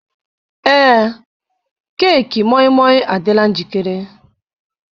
Ee, keeki moi moi adịla njikere.